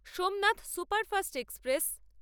Somnath superfast express